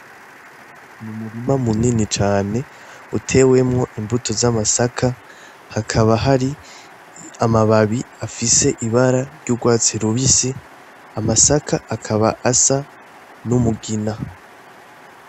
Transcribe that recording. Ni umurima mu nini cane ute wemwo imbuto z'amasaka hakaba hari amababi afise ibara ry'urwatsi lubisi amasaka akaba asa n'umugina.